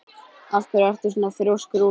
Af hverju ertu svona þrjóskur, Úlla?